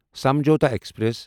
Samjhauta express